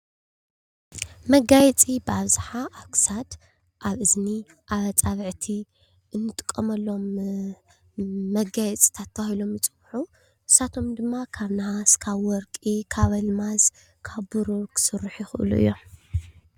መጋየፂ ብኣብዝሓ አብ ክሳድ ፣አብ እዝኒ ፣አፃብዕቲ እንጥቀመሎም መጋየፂታት ተባሂሎም ይፅዉዑ። ንሳቶም ድማ ካብ ነሓስ ፣ካብ ወርቂ ፣ካብ አልማዝ ፣ካብ ብሩር ክስርሑ ይኽእሉ እዮም ።